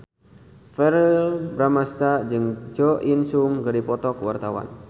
Verrell Bramastra jeung Jo In Sung keur dipoto ku wartawan